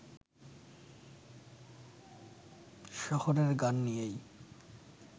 শহরের গান নিয়েই